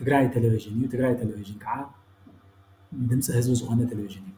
ትግራይ ቴሌቭዥን እዩ። ትግራይ ቴሌቭዥን ከዓ ንድምፂ ህዝቢ ዝኾነ ቴሌቭዥን እዩ።